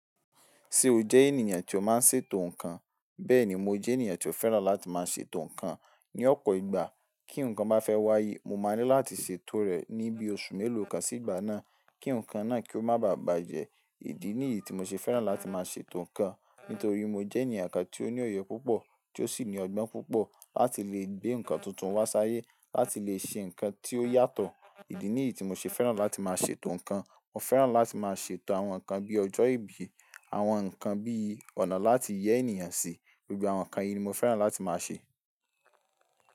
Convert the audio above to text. Tí o jẹ́ ènìyàn tí ó máa ń ṣètò ǹkan. Bẹ́ẹ̀ni mo jẹ́ ènìyàn tí ó fẹ́ràn láti máa ṣètò ǹkan. Ni ọ̀pọ̀ ìgbà kí ǹkan bá fẹ́ wáyé, mo máa ní láti ṣètò rẹ̀ ní bí oṣù mélòó kan sí ìgbà náà kí ǹkan náà kí ó má bà bàjẹ́. Èyí ni ìdí tí mo ṣe fẹ́ràn láti máa ṣètò ǹkan. Nítorí mo jẹ́ ẹ̀yàn kan tí ó ní òye púpọ̀, tí ó sì ní ọgbọ́n púpọ̀ láti lè gbé ǹkan tuntun wá s'áyé. Láti lè ṣe ǹkan tí ó yàtọ̀. Èyí ni ìdí tí mo ṣe fẹ́ràn láti máa ṣètò ǹkan. Mo fẹ́ràn láti máa ṣètò àwọn ǹkan bí ọjọ́ ìbí, àwọn ǹkan bí ọ̀nà láti yẹ́ ènìyàn sí. Gbogbo àwọn ǹkan yìí ni mo fẹ́ràn láti máa ṣe.